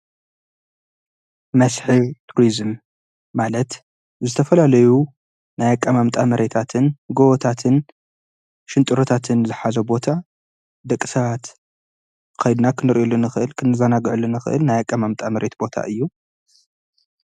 መስሕብ ቱርስም ማለት ዝተፈልለዩ ናያቃማ ኣምጣ መሬታትን ጐወታትን ሽንጥሩታትን ዝኃዘ ቦታ ደቂ ሰባት ኸይድና ኽንርዩሉንኽእል ክንዛናግዕሉንኽእል ናያቃማ ኣምጣ መሬት ቦታ እዩ::